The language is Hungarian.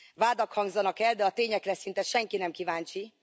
Vádak hangzanak el, de a tényekre szinte senki nem kíváncsi.